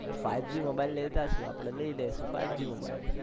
five G mobile લેતા શું આપને લઇ લેશું five G મોબાઈલ